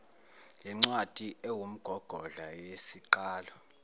yincwadi ewumgogodla neyisiqalo